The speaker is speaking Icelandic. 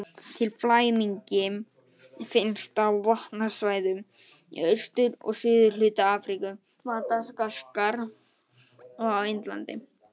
Litli flæmingi finnst á vatnasvæðum í austur- og suðurhluta Afríku, Madagaskar og á Indlandi.